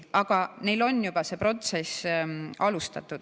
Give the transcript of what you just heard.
Aga neil on juba see protsess alustatud.